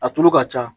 A tulu ka ca